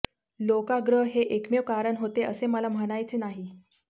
लोकाग्रह हे एकमेव कारण होते असे मला म्हणायचे नाही